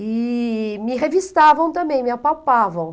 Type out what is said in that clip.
E me revistavam também, me apalpavam.